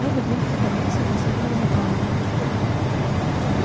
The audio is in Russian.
робот мягко поднялся и последовал за пауэллом